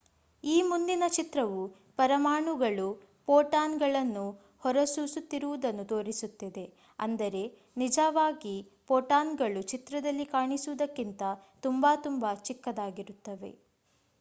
ಈ ಮುಂದಿನ ಚಿತ್ರವು ಪರಮಾಣುಗಳು ಪೋಟಾನ್ ಗಳನ್ನು ಹೊರಸೂಸುತ್ತಿರುವುದನ್ನು ತೋರಿಸುತ್ತಿದೆ ಅಂದರೆ ನಿಜಾವಾಗಿ ಪೋಟಾನ್ಗಳು ಚಿತ್ರದಲ್ಲಿ ಕಾಣಿಸುವುದಕ್ಕಿಂತ ತುಂಬಾ ತುಂಬಾ ಚಿಕ್ಕದಾಗಿರುತ್ತವೆ